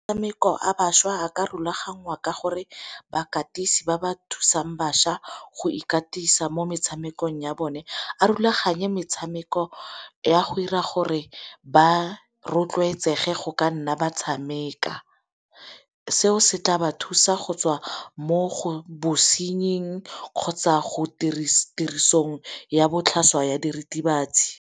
bašwa a ka rulaganngwa ka gore bakatisi ba ba thusang bašwa go ikatisa mo metshamekong ya bone a rulaganye metshameko ya go 'ira gore ba rotloetsege go ka nna ba tshameka. Seo setha ba thusa go tswa mo bosenying kgotsa go tirisong ya botlhaswa ya diritibatsi.